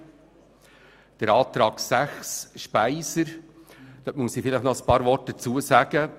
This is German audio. Zur Planungserklärung 6 SVP/Speiser muss ich noch ein paar Worte sagen: